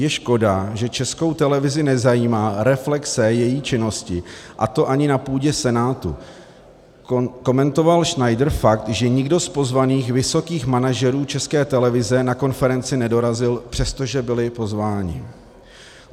Je škoda, že Českou televizi nezajímá reflexe její činnosti, a to ani na půdě Senátu - komentoval Schneider fakt, že nikdo z pozvaných vysokých manažerů České televize na konferenci nedorazil, přestože byli pozváni.